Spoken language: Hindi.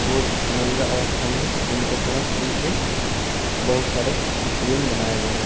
पूर्व नंगा अवस्था में है उनके साथ उनके बहुत सारे प्रतिबिंब बनाए गए हैं।